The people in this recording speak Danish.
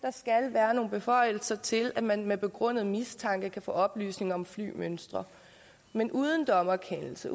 være nogle beføjelser til at man ved begrundet mistanke kan få oplysninger om flymønstre men uden dommerkendelse